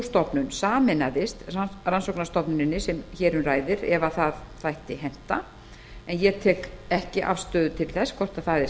stofnun sameinaðist rannsóknarstofnuninni sem hér um ræðir ef það þætti henta ég tek ekki afstöðu til þess hvort það er